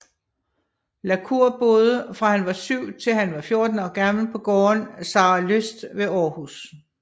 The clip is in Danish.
La Cour boede fra han var syv til han var 14 år gammel på gården Saralyst ved Aarhus